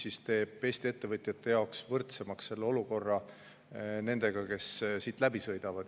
See teeb Eesti ettevõtjate jaoks võrdsemaks olukorra nendega, kes siit läbi sõidavad.